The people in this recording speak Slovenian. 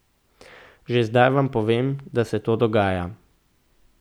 Že zdaj vam povem, da se to dogaja.